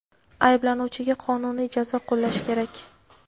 Ayblanuvchiga qonuniy jazo qo‘llash kerak.